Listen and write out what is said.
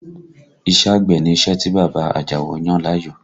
Iṣẹ́ àgbẹ̀ ni iṣẹ́ tí bàbá Àjàó yàn láàyò